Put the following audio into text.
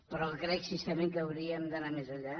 però crec sincerament que hauríem d’anar més enllà